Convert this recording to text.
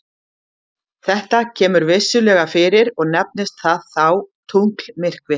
þetta kemur vissulega fyrir og nefnist það þá tunglmyrkvi